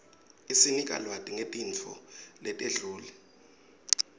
isinika lwati nqetinfo letenqule